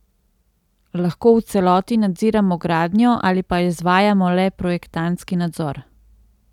Lahko v celoti nadziramo gradnjo ali pa izvajamo le projektantski nadzor.